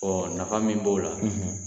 nafa min b'o la